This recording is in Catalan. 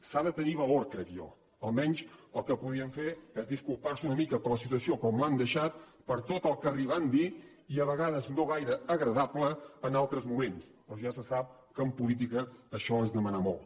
s’ha de tenir valor crec jo almenys el que podien fer és disculpar se una mica per la situació com l’han deixada per tot el que han arribat a dir i a vegades no gaire agradable en altres moments però ja se sap que en política això és demanar molt